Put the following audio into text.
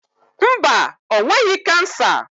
Mba, o nweghị kansa.